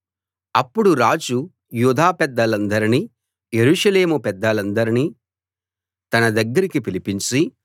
అప్పుడు రాజు యూదా పెద్దలనందర్నీ యెరూషలేము పెద్దలనందర్నీ తన దగ్గరికి పిలిపించి